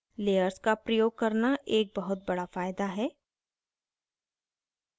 layers का प्रयोग करना एक बहुत बड़ा फायदा है